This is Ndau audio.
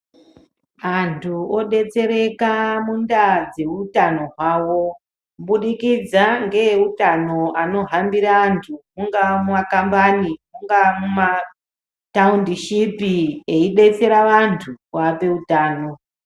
Antu odetsereka mundaa dzeutano hwavo, kubudikidza ngeeutano anohambire antu mungaa mumakambani, mungaa mumataundishipi, eidetsera vantu kuvape utano.